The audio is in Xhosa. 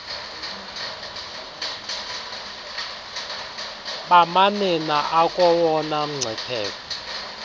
bamanina akowona mngcipheko